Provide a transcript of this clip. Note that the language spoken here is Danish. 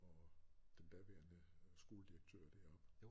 Og den daværende skoledirektør deroppe